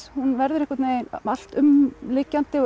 hún verður einhvern veginn alltumlykjandi og